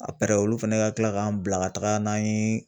A olu fɛnɛ ka tila k'an bila ka taga n'an ye